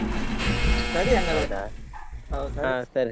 ಸರಿ ಹಂಗಾದ್ರೆ .